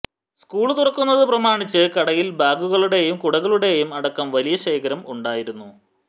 school തുറക്കുന്നത് പ്രമാണിച്ച് കടയില് ബാഗുകളുടെയും കുടകളുടെയും അടക്കം വലിയ ശേഖരം ഉണ്ടായിരുന്നു